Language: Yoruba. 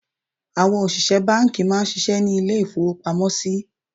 Àwọn òṣìṣẹ́ bánkì má a nsisé ní lé ìfowópamósí